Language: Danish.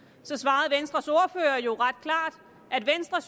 så svarede venstres ordfører jo ret klart at venstre